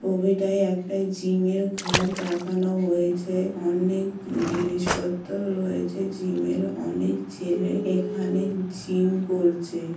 ছবিটায় একটা জিমের ঘর দেখানো হয়েছে। অনেক জিনিসপত্র রয়েছে জিমের । অনেক ছেলে এখানে জিম করছে।